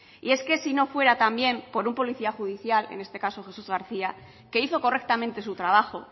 y es que sí no fuera también por un policía judicial en este caso jesús garcía que hizo correctamente su trabajo